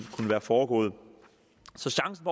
være foregået så chancen